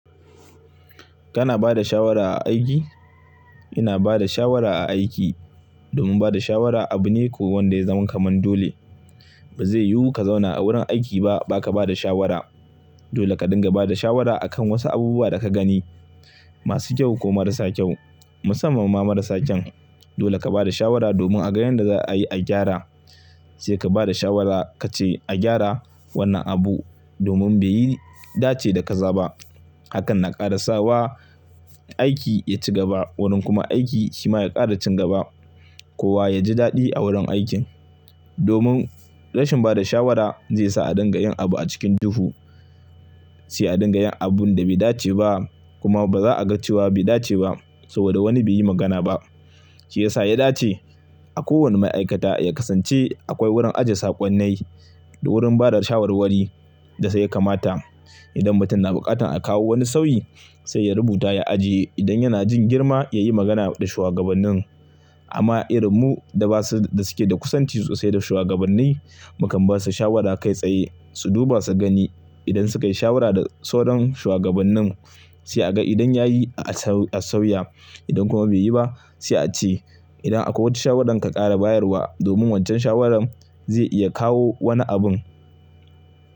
Kana ba da shawara a aiki? Ina ba da shawara a aiki. Domin ba da shawara abu ne ko wanda ya zama kamar dole. Ba zai yiwu ka zauna a wurin aiki ba baka ba da shawara. Dole ka dinga ba da shawara a kan wasu abubuwa da ka gani, masu kyau ko marasa kyau. Musamman ma marasa kyau. Dole ka ba da shawara domin a ga yanda za a yi a gyara. Sai ka ba da shawara ka ce a gyara wannan abu domin bai yi dace da kaza ba. Hakan na ƙara sa wa aiki ya ci gaba. Wurin kuma aiki shi ma ya ƙara cin gaba. Kowa ya ji daɗi a wurin aikin. Domin rashin ba da shawara zai sa a dinga yin abu a cikin dufu. Sai a dinga yin abun da bai dace ba kuma ba za a ga cewa bai dace ba saboda wani bai yi magana ba. Shi ya sa ya dace a kowane ma'aikata ya kasance akwai wurin ajiye saƙonnai da wurin bada shawarwari da sai ya kamata idan mutum na buƙatar a kawo wani sauyi sai ya rubuta ya ajiye. Idan yana jin girma ya yi magana da shugabannin. Amma irin mu da basu da suke da kusanci sosai da shugabanni, mu kan basu shawara kai tsaye su duba su gani idan sukayi shawara da tsauran shuwagabannin sai a ga idan yayi a sauya idan kuma bai yi ba sai a ce idan akwai wata shawaran ka ƙara bayarwa domin waccan shawaran zai iya kawo wani abun.